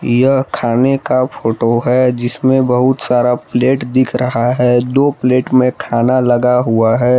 यह खाने का फोटो है जिसमें बहुत सारा प्लेट दिख रहा है दो प्लेट में खाना लगा हुआ है।